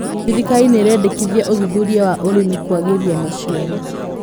Thirikari nĩraendekithia ũthuthuria wa ũrĩmi kwagĩria maciaro